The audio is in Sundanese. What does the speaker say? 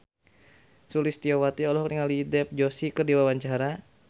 Sulistyowati olohok ningali Dev Joshi keur diwawancara